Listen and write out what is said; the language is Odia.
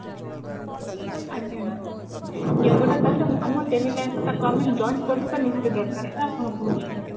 ଆଜ୍ଞା ଆମ daily life ଟାକୁ ଆମେ କରିବା ତ ନିହାତି ଦରକାର ନା କଣ କହୁଛନ୍ତି